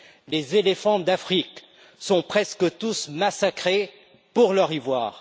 Les éléphants d'Afrique sont presque tous massacrés pour leur ivoire.